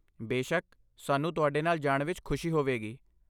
ਬੇਸ਼ੱਕ, ਸਾਨੂੰ ਤੁਹਾਡੇ ਨਾਲ ਜਾਣ ਵਿੱਚ ਖੁਸ਼ੀ ਹੋਵੇਗੀ।